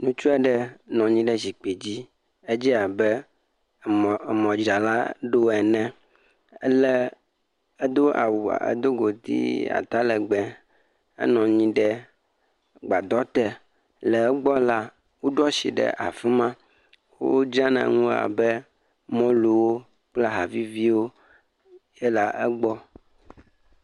ŋutsu aɖe nɔ anyi ɖe zikpui me. Edze abe emɔ dzralaɖo ene. Ele, Edo ƒoɖi ata legbe. Enɔ anyi ɖe gbadɔ te. Le egbɔ la, woɖo asi ɖe afima abe mɔluwo kple aha viviwo hã le egbɔ.